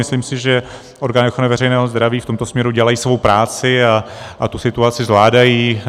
Myslím si, že orgány ochrany veřejného zdraví v tomto směru dělají svou práci a tu situaci zvládají.